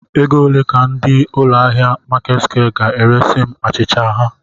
Ego ole ka ndị ụlọ ahịa Marketsquare ga-eresi m achịcha ha?.